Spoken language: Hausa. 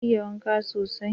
Ka iya waka sosai?